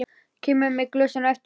Kemur með glösin á eftir henni.